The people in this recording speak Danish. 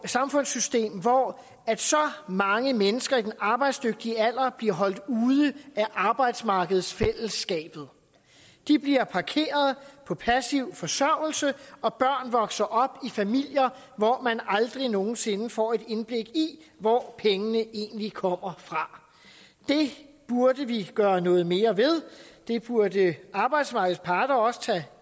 samfundssystem hvor så mange mennesker i den arbejdsdygtige alder bliver holdt ude af arbejdsmarkedsfællesskabet de bliver parkeret på passiv forsørgelse og børn vokser op i familier hvor man aldrig nogen sinde får et indblik i hvor pengene egentlig kommer fra det burde vi gøre noget mere ved det burde arbejdsmarkedets parter også tage